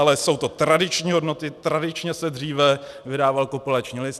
Ale jsou to tradiční hodnoty, tradičně se dříve vydával kopulační list.